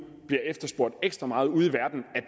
bliver efterspurgt ekstra meget ude